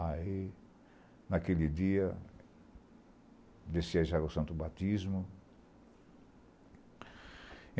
Aí, naquele dia, desceram já o santo batismo.